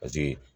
Paseke